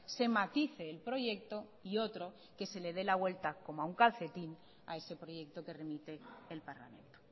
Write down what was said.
se matice el proyecto y otro que se le de la vuelta como a un calcetín a ese proyecto que remite el parlamento